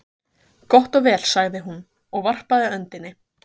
Gott og vel, sagði hún, og varpaði öndinni.